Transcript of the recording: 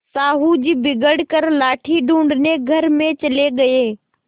साहु जी बिगड़ कर लाठी ढूँढ़ने घर में चले गये